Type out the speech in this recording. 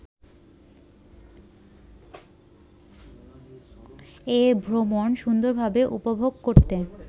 এ ভ্রমণ সুন্দরভাবে উপভোগ করতে